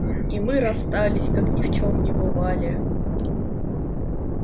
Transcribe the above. и мы расстались как ни в чем не бывали